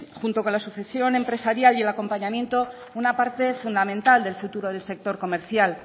junto con la sucesión empresarial y el acompañamiento una parte fundamental del futuro del sector comercial